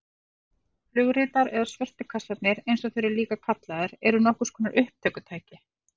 Flugritar eða svörtu kassarnir eins og þeir eru líka kallaðir eru nokkurs konar upptökutæki.